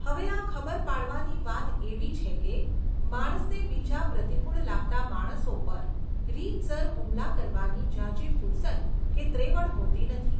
હવે આ ખબર પાડવાની વાત એવી છે કે, માણસને બીજા પ્રતિકૂળ લાગતા માણસો પર, રીતસર હુમલા કરવાની ઝાઝી ફુરસદ કે ત્રેવડ હોતી નથી.